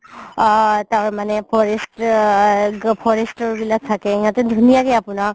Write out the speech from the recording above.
আ তাৰমানে forester, forester বিলাক থাকে সিহতে ধুনীয়াকে আপুনাক